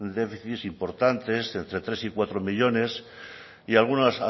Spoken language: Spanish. déficits importantes entre tres y cuatro millónes y algún